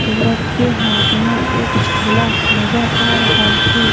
औरत के हाथ में एक झोला नजर आ रहा है।